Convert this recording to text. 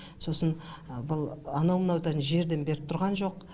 сосын бұл анау мынау жерден беріп тұрған жоқ